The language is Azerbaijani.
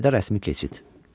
Çayda rəsmi keçid.